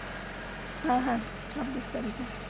হ্যাঁ হ্যাঁ ছাব্বিশ তারিখে